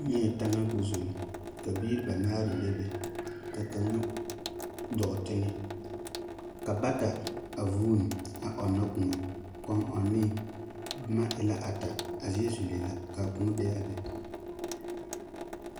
Nyԑԑ taŋa koo zulli, ka biiri banaare bebe, ka kaŋa dͻͻ teŋԑ, ka bata a vuuni a ͻnnͻ kõͻ. Kͻŋ ͻŋenee boma e la ata, a zie zulee la ka a kõͻ be a be.